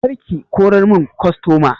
Kar ki kora mun kostoma!